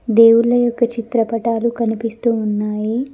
దేవుళ్ళ యొక్క చిత్రపటాలు కనిపిస్తూ ఉన్నాయి.